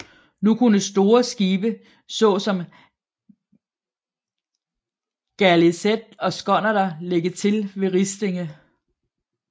Nu kunne store skibe såsom galeaset og skonnerter lægge til ved Ristinge